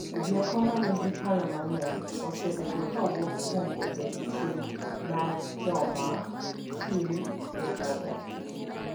Rieko ma nigi paro mang’eny osebedo ka wuok kuom bedo gi chuny mar joma tin e bwo pek,